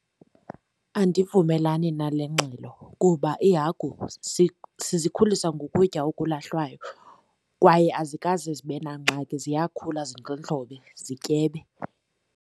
Andivumelani nale ngxelo kuba iihagu sizikhulisa ngokutya okulahlwayo kwaye azikaze zibe nangxaki. Ziyakhula zindlondlobe zityebe.